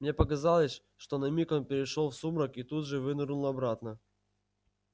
мне показалось что на миг он перешёл в сумрак и тут же вынырнул обратно